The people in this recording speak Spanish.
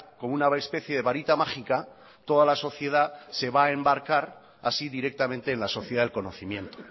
con una especie de varita mágica toda la sociedad se va a embarcar así directamente en la sociedad del conocimiento